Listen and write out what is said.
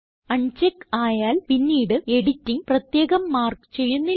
അൺ check ആയാൽ പിന്നിട് editing പ്രത്യേകം മാർക്ക് ചെയ്യുന്നില്ല